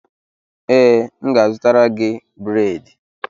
Ee, m ga-azụtara gị bredị